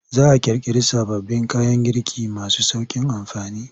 Za a ƙirƙiri sababbin kayan girki masu sauƙin amfani.